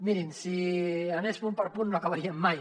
mirin si anés punt per punt no acabaríem mai